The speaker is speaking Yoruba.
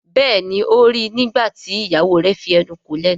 Béèni o rí ní nígbàtí ìyàwó rẹ fí enú kò lénu.